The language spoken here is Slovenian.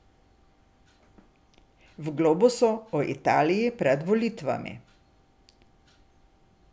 V Globusu o Italiji pred volitvami.